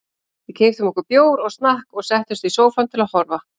Við keyptum okkur bjór og snakk og settumst í sófann til að horfa.